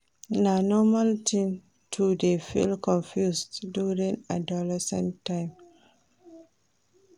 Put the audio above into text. Na normal tin to dey feel confused during adolescence time.